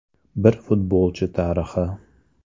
Bir futbolchi tarixi.